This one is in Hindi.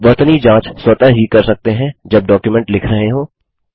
वर्तनी जाँच स्वतः ही कर सकते हैं जब डॉक्युमेंट लिख रहे हों